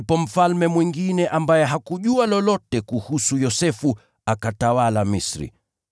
Ndipo mfalme mwingine ambaye hakujua lolote kuhusu Yosefu akatawala Misri.